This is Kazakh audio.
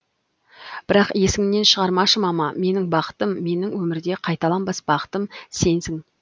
бірақ есіңнен шығармашы мама менің бақытым менің өмірде қайталанбас бақытым сенсің